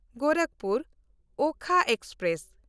ᱜᱳᱨᱟᱠᱷᱯᱩᱨ–ᱳᱠᱷᱟ express